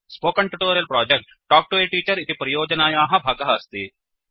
spoken tutorial project talk to a teacher इति परियोजनायाः भागः अस्ति